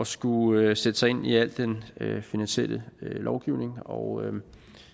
skulle sætte sig ind i al den finansielle lovgivning og